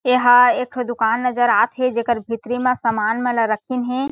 एहा एक ठो दुकान नज़र आत हे जेकर भीतरी म सामान मन ल रखीन हे।